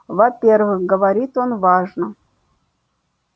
во-первых говорит он важно